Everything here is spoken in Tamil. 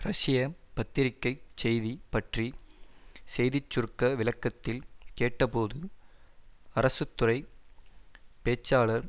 ரஷ்ய பத்திரிக்கைச் செய்தி பற்றி செய்திச்சுருக்க விளக்கத்தில் கேட்டபோது அரசு துறை பேச்சாளர்